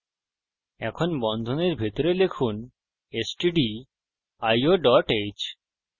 এখন বন্ধনীর ভিতরে লিখুন stdio dot h